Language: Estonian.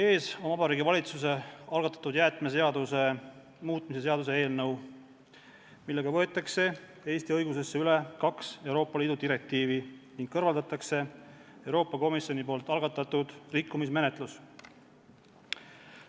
Teie ees on Vabariigi Valitsuse algatatud jäätmeseaduse muutmise seaduse eelnõu, millega võetakse Eesti õigusesse üle kaks Euroopa Liidu direktiivi ning kõrvaldatakse Euroopa Komisjoni algatatud rikkumismenetlus.